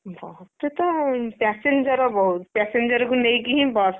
ବସ ରେ ତ passenger ବହୁତ୍ passenger କୁ ନେଇକି ହିଁ ବସ,